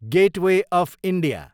gateway of India